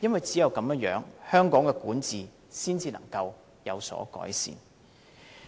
只有這樣，香港的管治才能改善。